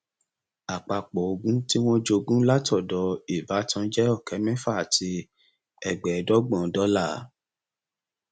àpapọ ogún tí wọn jogún láti ọdọ ìbátan jẹ ọkẹ mẹfà àti ẹgbẹẹdọgbọn dọlà